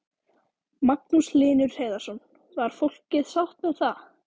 Magnús Hlynur Hreiðarsson: Var fólkið sátt með það?